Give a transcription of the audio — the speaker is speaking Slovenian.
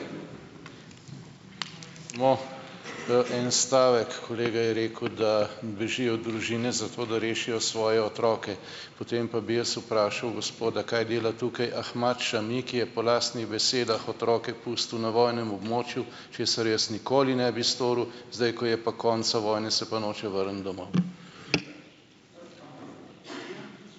No. En stavek. Kolega je rekel, da bežijo družine, zato da rešijo svoje otroke. Potem pa bi jaz vprašal gospoda, kaj dela tukaj Ahmad Šami, ki je po lastnih besedah otroke pustil na vojnem območju, česar jaz nikoli ne bi storil. Zdaj, ko je pa konec vojne, se pa noče vrniti domov.